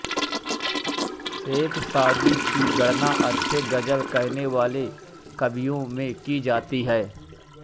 शेख सादी की गणना अच्छे गजल कहनेवाले कवियों में की जाती है